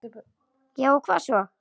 Já og hvað svo?